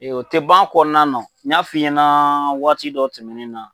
o tɛ ban a kɔnɔna na o n y'a f'i ɲɛna waati dɔ tɛmɛnen na.